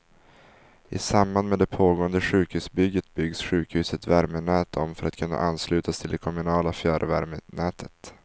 I samband med det pågående sjukhusbygget byggs sjukhusets värmenät om för att kunna anslutas till det kommunala fjärrvärmenätet.